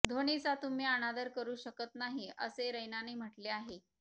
धोनीचा तुम्ही अनादर करु शकत नाही असे रैनाने म्हटले आहे